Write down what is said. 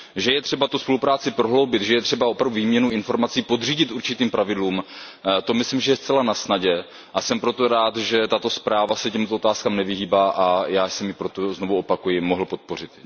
Že je třeba tu spolupráci prohloubit, že je třeba opravdu výměnu informací podřídit určitým pravidlům, to myslím, že je zcela nasnadě, a jsem proto rád, že tato zpráva se těmto otázkám nevyhýbá, a já jsem ji proto, znovu opakuji, mohl podpořit.